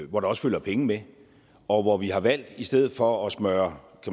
hvor der også følger penge med og hvor vi har valgt i stedet for at smøre